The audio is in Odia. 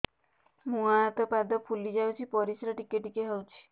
ମୁହଁ ହାତ ପାଦ ଫୁଲି ଯାଉଛି ପରିସ୍ରା ଟିକେ ଟିକେ ହଉଛି